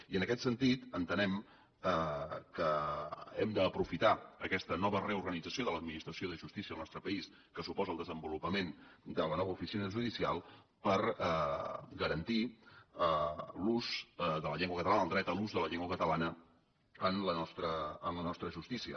i en aquest sentit entenem que hem d’aprofitar aquesta nova reorganització de l’administració de justícia al nostre país que suposa el desenvolupament de la nova oficina judicial per garantir l’ús de la llengua catalana el dret a l’ús de la llengua catalana en la nostra justícia